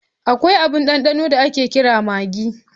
Akwai abin ɗanɗano da ake kira maggi.